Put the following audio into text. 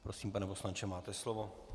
Prosím, pane poslanče, máte slovo.